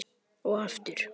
Og aftur.